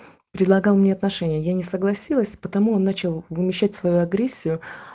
предлагал мне отношения я не согласилась потому он начал вымещать свою агрессию